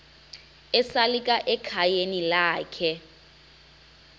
esalika ekhayeni lakhe